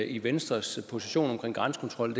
i venstres position omkring grænsekontrol